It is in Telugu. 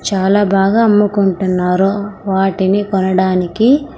చాలా బాగా అమ్ముకుంటున్నారు వాటిని కొనడానికి.